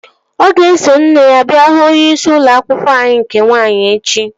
Ọ ga-eso nne ya bịa hụ onyeisi ụlọ akwụkwọ anyị nke nwaanyị echi